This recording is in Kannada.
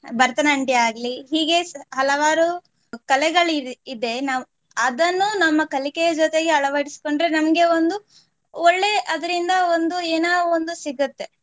ಭರತನಾಟ್ಯ ಆಗ್ಲಿ ಹೀಗೆ ಹಲವಾರು ಕಲೆಗಳು ಇ~ ಇದೆ ನಾವು ಅದನ್ನು ನಮ್ಮ ಕಲಿಕೆಯ ಜೊತೆಗೆ ಅಳವಡಿಸ್ಕೊಂಡ್ರೆ ನಮ್ಗೆ ಒಂದು ಒಳ್ಳೆ ಅದರಿಂದ ಒಂದು ಏನೋ ಒಂದು ಸಿಗುತ್ತೆ.